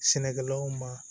Sɛnɛkɛlaw ma